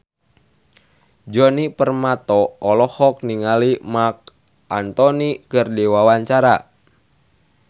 Djoni Permato olohok ningali Marc Anthony keur diwawancara